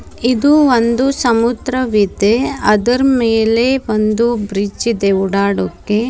ಇದು ಒಂದು ಸಮುದ್ರವಿದೆ ಅದರ್ ಮೇಲೆ ಒಂದು ಬ್ರಿಡ್ಜ್ ಇದೆ ಓಡಾಡೋಕೆ.